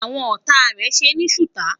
àwọn ọtá rè ṣé ní suta